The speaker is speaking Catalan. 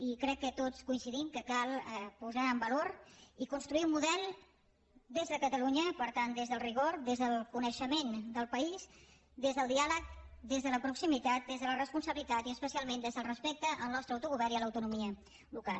i crec que tots coincidim que cal posar en valor i construir un model des de catalunya per tant des del rigor des del coneixement del país des del dià leg des de la proximitat des de la responsabilitat i especialment des del respecte al nostre autogovern i a l’autonomia local